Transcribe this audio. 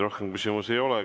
Rohkem küsimusi ei ole.